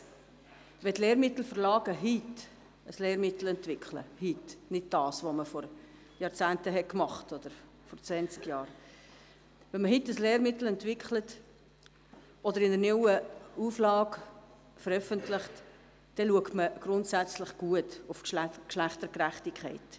Wenn die Lehrmittelverlage heute ein Lehrmittel entwickeln – heute, nicht vor zwanzig Jahren – oder eine neue Auflage veröffentlichen, achtet man gut auf die Geschlechtergerechtigkeit.